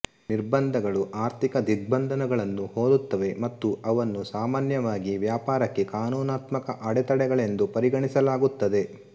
ನಿರ್ಬಂಧಗಳು ಆರ್ಥಿಕ ದಿಗ್ಬಂಧನಗಳನ್ನು ಹೋಲುತ್ತವೆ ಮತ್ತು ಅವನ್ನು ಸಾಮಾನ್ಯವಾಗಿ ವ್ಯಾಪಾರಕ್ಕೆ ಕಾನೂನಾತ್ಮಕ ಅಡೆತಡೆಗಳೆಂದು ಪರಿಗಣಿಸಲಾಗುತ್ತದೆ